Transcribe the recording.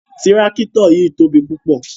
Tirakito yii tobi pupọ